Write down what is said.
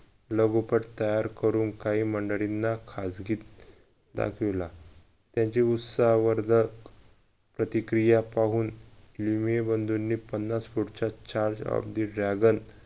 लगोपाठ तयार करून काही मंडळींना खाजगीत दाखविला त्यांच्या उत्साहावर जर प्रतिक्रिया पाहून बंधूनी पन्नास कोटच्या charge of the regal